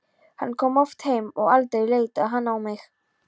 Hann kom oft heim og aldrei leitaði hann á mig.